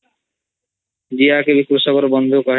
ଜିଆ କେ ବି କୃଷକ ର ବନ୍ଧୁ କୁହାଯାଇଚି